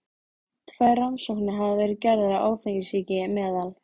Tvær rannsóknir hafa verið gerðar á áfengissýki meðal